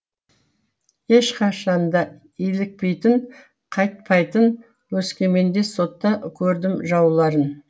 ешқашанда илікпейтін қайтпайтын өскеменде сотта көрдім жауларын